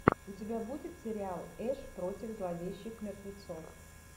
у тебя будет сериал эш против зловещих мертвецов